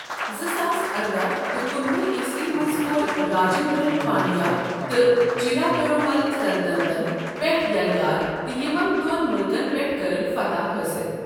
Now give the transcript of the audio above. زٕ ساس ارداہ تہٕ کُنوُہ عیٖسوی منز کوٚر راجندرن پانڈیا تہٕ چیرا پیرومل سلطنتن پٮ۪ٹھ یلٰغار تہِ یمن دون ملکن پیٹھ کٔرٕن فتح حٲصِل ۔